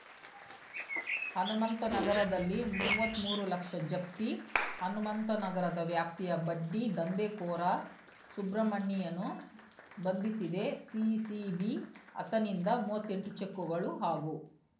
ಹನುಮಂತನಗರದಲ್ಲಿ ಮೂವತ್ಮೂರು ಲಕ್ಷ ಜಪ್ತಿ ಹನುಮಂತನಗರದ ವ್ಯಾಪ್ತಿಯ ಬಡ್ಡಿ ದಂಧೆಕೋರ ಸುಬ್ರಹ್ಮಣಿಯನ್ನು ಬಂಧಿಸಿದೆ ಸಿಸಿಬಿ ಆತನಿಂದ ಮೂವತ್ತೆಂಟು ಚೆಕ್‌ಗಳು ಹಾಗೂ